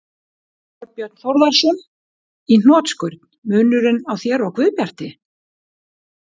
Þorbjörn Þórðarson: Í hnotskurn: Munurinn á þér og Guðbjarti?